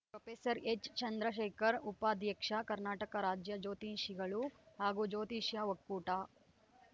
professor ಎಚ್‌ಚಂದ್ರಶೇಖರ್‌ ಉಪಾಧ್ಯಕ್ಷ ಕರ್ನಾಟಕ ರಾಜ್ಯ ಜ್ಯೋತಿಷಿಗಳು ಹಾಗೂ ಜ್ಯೋತಿಷ ಒಕ್ಕೂಟ